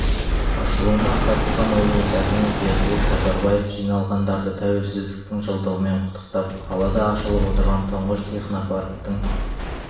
ашылуына қатысқан облыс әкімі бердібек сапарбаев жиналғандарды тәуелсіздіктің жылдығымен құттықтап қалада ашылып отырған тұңғыш технопарктің